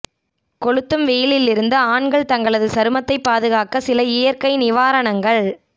கொளுத்தும் வெயிலில் இருந்து ஆண்கள் தங்களது சருமத்தைப்பாதுகாக்க சில இயற்கை நிவாரணங்கள்